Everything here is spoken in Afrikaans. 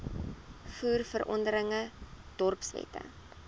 voer verordeninge dorpswette